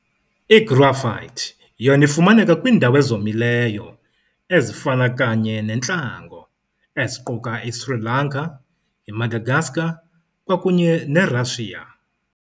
I-Graphite yona ifumaneka kwiindawo ezomileyo ezifana kanye nentlango, eziquka i-Sri Lanka, i-Madagascar, kwakunye ne-Russia.